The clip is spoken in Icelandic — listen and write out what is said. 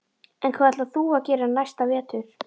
En hvað ætlar þú að gera næsta vetur?